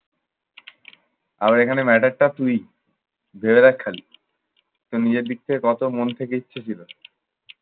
আবার এখানের matter টা তুই ভেবে দেখ খালি। তোর নিজের দিক থেকে কত মন থেকে ইচ্ছে ছিল।